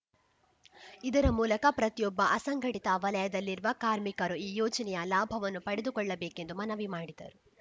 ಇದರ ಮೂಲಕ ಪ್ರತಿಯೊಬ್ಬ ಅಸಂಘಟಿತ ವಲಯದಲ್ಲಿರುವ ಕಾರ್ಮಿಕರು ಈ ಯೋಜನೆಯ ಲಾಭವನ್ನು ಪಡೆದುಕೊಳ್ಳಬೇಕೆಂದು ಮನವಿ ಮಾಡಿದರು